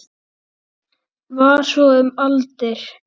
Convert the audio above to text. Var svo um aldir.